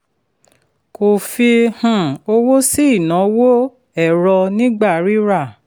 kò fi um owó sí ìnáwó ẹ̀rọ nígbà rira.